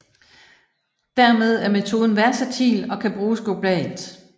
Dermed er metoden versatil og kan bruges globalt